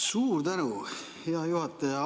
Suur tänu, hea juhataja!